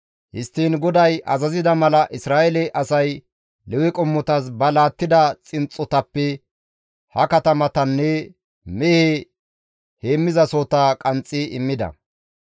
Histtiin GODAY azazida mala Isra7eele asay Lewe qommotas ba laattida xinxxotappe ha katamatanne mehe heenththasohota qanxxi immida.